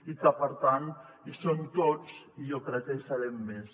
i per tant hi som tots i jo crec que hi serem més